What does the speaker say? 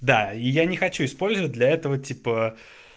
да и я не хочу использовать для этого типа